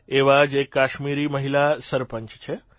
એવા જ એક કાશ્મીરી મહિલા સરપંચ છે